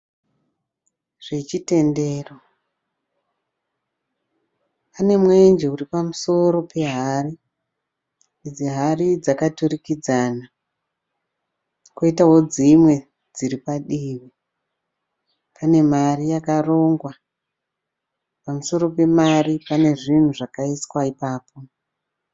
Zvechitendero. Pane mwenje uri pamusoro pehari. Idzi hari dzakaturikidzana, kwoitawo dzimwe dziri padivi. Pane mari yakarongwa. Pamusoro pemari pane zvinhu zvakaiswa ipapo.